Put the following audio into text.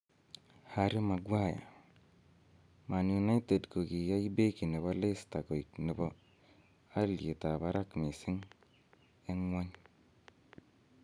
Harry Maguire: Man United kokiyai Beki nebo Leicester koik nebo alyetab barak mising en ng'wony